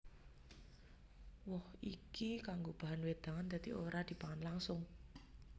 Woh iki kanggo bahan wédangan dadi ora dipangan langsung